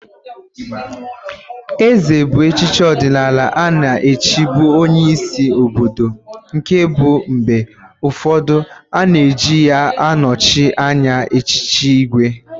Ézè bụ echichi ọdịnala a na-echibu onyeisi obodo nke bụ mgbe ụfọdụ a na-eji ya anọchị anya echiche ìgwè.